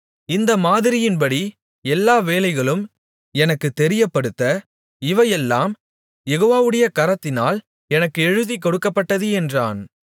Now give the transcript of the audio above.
இந்த மாதிரியின்படி எல்லா வேலைகளும் எனக்குத் தெரியப்படுத்த இவையெல்லாம் யெகோவாவுடைய கரத்தினால் எனக்கு எழுதிக்கொடுக்கப்பட்டது என்றான்